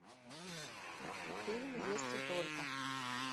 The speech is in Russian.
фильм если только